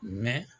Mɛ